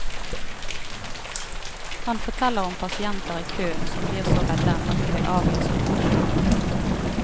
Han forteller om pasienter i kø som blir så redde at de vil avlyse operasjonen.